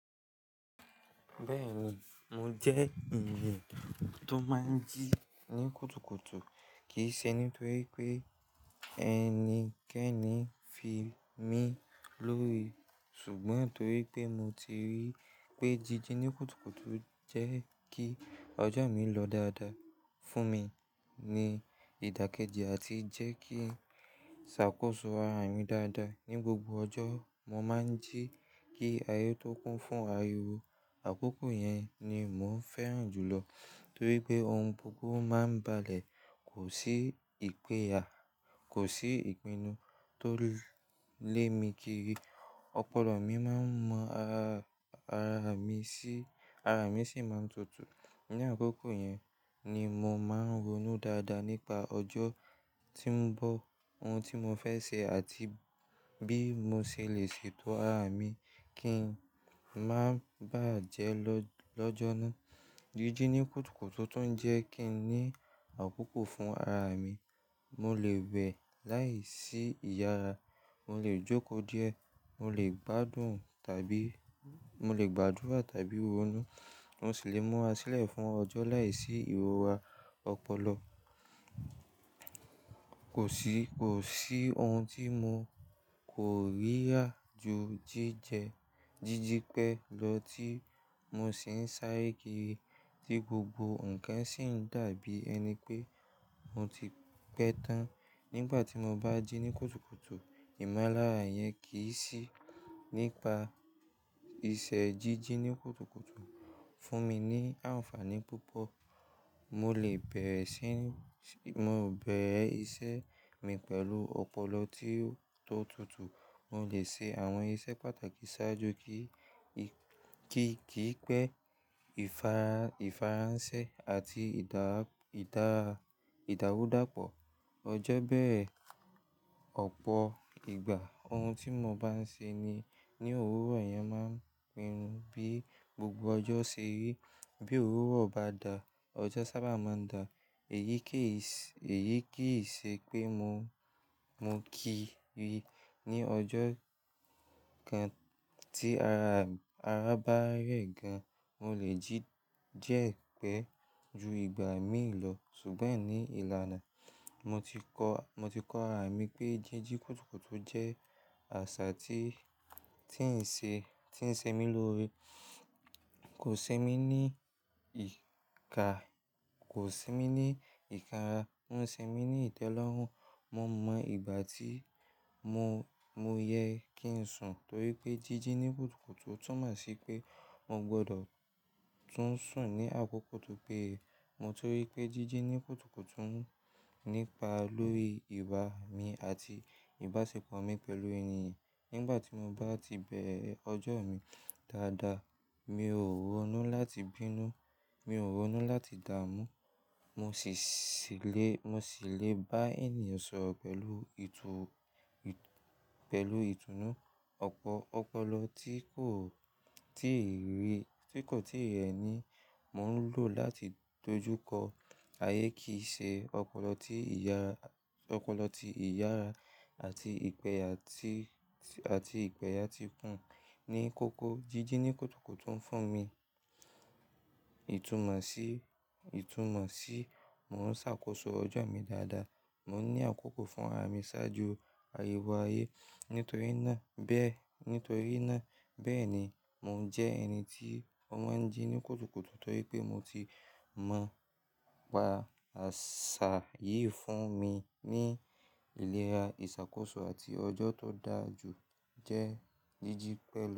Bẹ́ẹ̀ni, mo jẹ́ ènìyàn tó máa ń jí ní kùtùkùtù. Kì í ṣe nítorí pé ẹnikẹ́ni ń fi mí lórí, ṣùgbọ́n torí pé mo ti rí i pé jíjí ní kùtùkùtù jẹ́ kí ọjọ́ mi lọ dáadáa fún mi ní ìdàkejì àti jẹ́ kí ń ṣàkóso ara mi dáadáa ní gbogbo ọjọ́. Mo máa ń jí kí ayé tó kún fún ariwo. Àkókò yẹn ni mò ń fẹ́ràn jùlọ torí pé ohun gbogbo máa ń balẹ̀, kò sí ìpẹ́yà, kò sí ìpinnu tó lé mi kiri, ọpọlọ mi máa ń mọ ara, ara mi sì, ara mi sì máa ń tutù. Ní àkókò yẹn ni mo máa ń ronú dáadáa nípa ọjọ́ tí ń bọ̀, ohun tí mo fẹ́ ṣe àti bí mo ṣe lè ṣètò ara mi kí ń máa bà á jẹ lọ́jọ́ náà. Jíjí ní kùtùkùtù tuń jẹ́ kí n ní àkókò fún ara mi. Mo lè wẹ̀ láìsí ìyára, mo lè jókòó díẹ̀, mo lè gbádùn tàbí mo lè gbadura tàbí ronú. Mo sì lè múra sílẹ̀ fún ọjọ́ láìsí ìrọra ọpọlọ. Kò sí, kò sí ohun tí mo kò rí yá ju jíjẹ, jíjí pẹ́ lọ tí mo sì ń sáré kiri tí gbogbo nǹkan sì ń dàbí ẹni pé mo ti pẹ́ tán. Nígbà tí mo bá jí ní kùtùkùtù, ìmọ̀lára yẹn kì í sì nípa iṣẹ́. Jíjí ní kùtùkùtù fún mi ní àǹfààní púpọ̀. Mo lè bẹ̀rẹ̀ iṣẹ́ mi pẹ̀lú ọpọlọ tí ó, tó tutù. Mo lè ṣe àwọn iṣẹ́ pàtàkì sáájú kí í, kí kì í pẹ́. Ìfaransẹ́ àti ìdá idarudàpọ̀ ọjọ́ bẹ́ẹ̀. Ọ̀pọ̀ ìgbà ohun tí mo bá ń ṣe ní, ní owuro yẹn máa ń pinnu bí gbogbo ọjọ́ ṣe rí. Bí òwuro bá da, ọjọ́ sábà máa ń dà eyii Èyí kì í ṣe pé mo, mo kì í rí i ní ọjọ́ kan tí ara, ara bá rẹ̀ gan. Mo lè jí jẹ́ diẹ̀ pẹ́ ju ìgbà míì lọ. Ṣùgbọ́n ní ìlànà, mo ti kọ, mo ti kọ ara mi pé jíjí kùtùkùtù jẹ́ àṣà tí, tí ń ṣe, tí ń ṣe mí lórí. Kò ṣe mí ní ìka, kò ṣe mí ní ìkara, ń ṣe mí ní ìtẹ́lọ́rùn. Mo mọ ìgbà tí mo, mo yẹ kí ń sùn torí pé jíjí ní kùtùkùtù túmọ̀ sí pé mo gbọdọ̀ tún sùn ní àkókò tó péye. Mo tun rí pé jíjí ní kùtùkùtù ń nípa lórí ìwà mi àti ìbáṣepọ̀ mi pẹ̀lú ènìyàn. Nígbà tí mo bá ti bẹ̀rẹ̀ ọjọ́ mi dáadáa, mi ò ronú láti bínú, mi ò ronú láti dààmú, mo sì le, mo sì le bá ènìyàn sọ̀rọ̀ pẹ̀lú itu i pelu ìtùnú. Ọ̀pọ̀ ọpọlọ tí kò, tí kò tí ì rẹ́ni mò ń lò láti dojúkọ ayé kì í ṣe ọpọlọ tí ìyá, ọpọlọ tí ìyàrá àti ìpẹ̀yà tí, àti ìpẹ̀yà ti kùn ní kókó. Jíjí ní kùtùkùtù ń fún mi ìtumọ̀ sí, ìtumọ̀ sí mò ń ṣàkóso ọjọ́ mi dáadáa. Mo ní àkókò fún ara mi sáájú ariwo ayé. Nítorí náà bẹ́ẹ̀, nítorí náà bẹ́ẹ̀ ni mò ń jẹ́ ẹni tí ó máa ń jí ní kùtùkùtù torí pé mo ti mọ pa àṣà yìí fún mi ní ìlera, ìṣàkóso àti ọjọ́ tó dára jù jẹ́ jíjí pẹ̀lú.